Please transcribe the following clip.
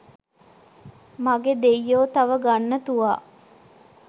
මගෙ දෙය්යෝ තව ගන්න තුවා.